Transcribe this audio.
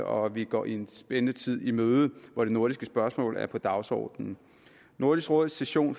og at vi går en spændende tid i møde hvor de nordiske spørgsmål er på dagsordenen nordisk råds session